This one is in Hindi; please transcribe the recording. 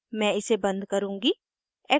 मैं इसे बन्द करुँगी